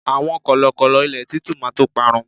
àwọn kọlọkọlọ ilé titu ma to parun